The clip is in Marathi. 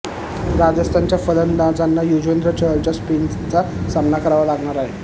राजस्थानच्या फलंदाजांना युजवेंद्र चहलच्या स्पिनचा सामना करावा लागणार आहे